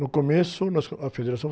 No começo, nós co, a federação